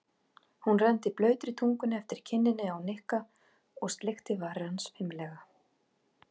Hún renndi blautri tungunni eftir kinninni á Nikka og sleikti varir hans fimlega.